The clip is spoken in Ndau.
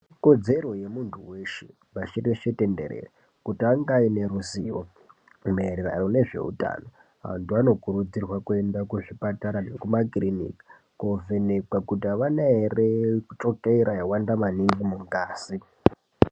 Ikodzero yemuntu weshe pashi reshe tenderere kuti ange ane ruzivo maererano nezvehutano vantu vanokurudzirwa kuenda kuzvipatara zvekumakiriniki kovhenekwa kuti avana ere chukera yawanda maningi mungazi.